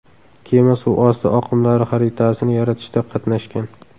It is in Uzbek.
Kema suvosti oqimlari xaritasini yaratishda qatnashgan.